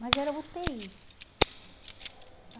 Mas era u tê i.